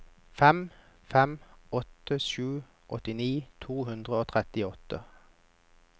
fem fem åtte sju åttini to hundre og trettiåtte